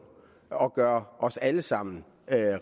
og gøre os alle sammen